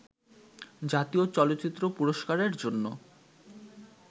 জাতীয় চলচ্চিত্র পুরস্কারের জন্য